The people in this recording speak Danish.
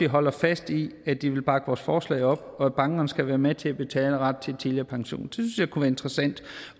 holder fast i at de vil bakke vores forslag op og at bankerne skal være med til at betale en ret til tidligere pension det synes jeg kunne være interessant